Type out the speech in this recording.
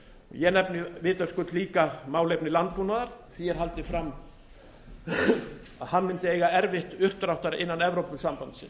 ég nefni vitaskuld líka málefni landbúnaðar því er haldið fram að hann mundi eiga erfitt uppdráttar innan evrópusambandsins